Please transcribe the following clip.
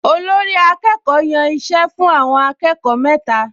Olórí-akẹ́kọ̀ọ́ yàn iṣẹ́ fún àwọn akẹ́kọ̀ọ mẹ́ta